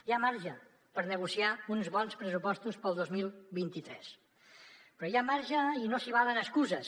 hi ha marge per negociar uns bons pressupostos per al dos mil vint tres però hi ha marge i no s’hi valen excuses